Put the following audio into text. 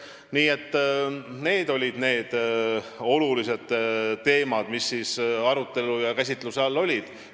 Nii et need olid need olulised teemad, mis seal käsitluse all olid.